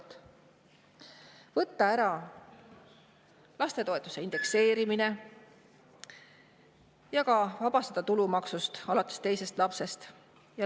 Samuti lapsetoetuse indekseerimisest ja tulumaksuvabastusest alates teisest lapsest.